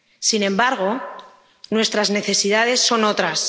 Sin embargo, nuestras necesidades son otras.